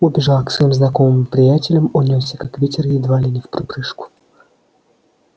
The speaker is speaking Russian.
убежал к своим знакомым приятелям унёсся как ветер едва ли не вприпрыжку